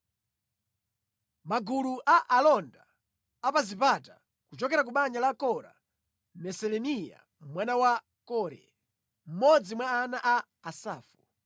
Magulu a alonda a pa zipata: Kuchokera ku banja la Kora: Meselemiya mwana wa Kore, mmodzi mwa ana a Asafu.